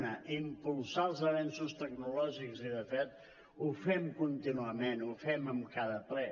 una impulsar els avenços tecnològics i de fet ho fem contínuament ho fem en cada ple